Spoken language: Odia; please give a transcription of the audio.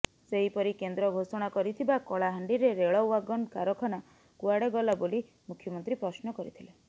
ସେହିପରି କେନ୍ଦ୍ର ଘୋଷଣା କରିଥିବା କଳାହାଣ୍ଡିରେ ରେଳ ୱାଗନ କାରଖାନା କୁଆଡ଼େ ଗଲା ବୋଲି ମୁଖ୍ୟମନ୍ତ୍ରୀ ପ୍ରଶ୍ନ କରିଥିଲେ